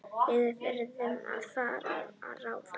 Við verðum að finna ráð.